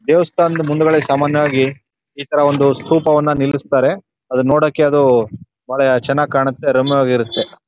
ದೇವಸ್ತಾನ್ದ ಮುಂದ್ಗಡೆ ಸಾಮಾನ್ಯವಾಗಿ ಇತರ ಒಂದು ಸ್ತೂಪವನ ನಿಲ್ಸ್ತಾರೆ ಅದು ನೋಡೋಕೆ ಅದು ಬಹಳ ಚನ್ನಾಗೇ ಕಾಣುತೇ ರಮ್ಯವಾಗಿ ಇರುತ್ತೆ.